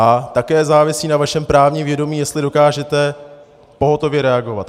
A také závisí na vašem právním vědomí, jestli dokážete pohotově reagovat.